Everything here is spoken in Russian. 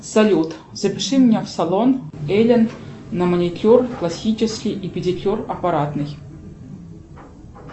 салют запиши меня в салон элен на маникюр классический и педикюр аппаратный